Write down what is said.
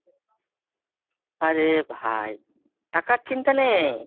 আরে ভাই টাকার চিন্তা নেই।